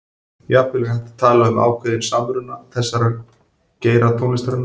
Jafnvel er hægt að tala um ákveðinn samruna þessara geira tónlistarinnar.